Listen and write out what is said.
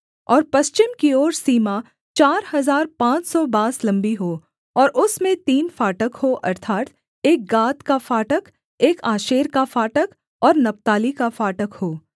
और पश्चिम की ओर सीमा चार हजार पाँच सौ बाँस लम्बी हो और उसमें तीन फाटक हों अर्थात् एक गाद का फाटक एक आशेर का फाटक और नप्ताली का फाटक हो